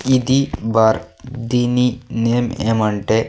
ఇది బార్ దీని నేమ్ ఏమంటే.